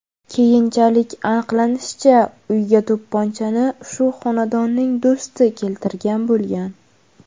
Keyinchalik aniqlanishicha, uyga to‘pponchani shu xonadonning do‘sti keltirgan bo‘lgan.